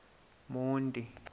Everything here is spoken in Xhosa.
monti